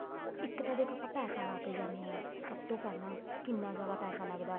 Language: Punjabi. ਉਹ ਇੱਕ ਤਾਂ ਦੇਖੋ ਆਪਾਂ ਪੈਸਾ ਲਗਾ ਕੇ ਜਾਨੇ ਆ ਸਭ ਤੋਂ ਪਹਿਲਾਂ ਕਿੰਨਾ ਜਿਆਦਾ ਪੈਸਾ ਲੱਗਦਾ